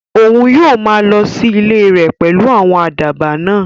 Òun yóò maa lọ sí ilẹ̀ rẹ̀ pẹ̀lú àwọn àdàbà náà